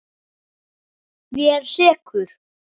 Ég er sekur.